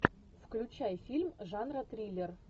включай фильм жанра триллер